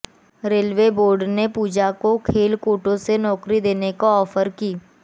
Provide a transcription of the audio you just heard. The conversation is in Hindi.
रेलवे बोर्ड ने पूजा को खेल कोटे से नौकरी देने का ऑफर की